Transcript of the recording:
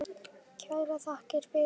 Kærar þakkir fyrir það.